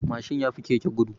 Mashin yafi keke gudu.